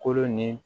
Kolo ni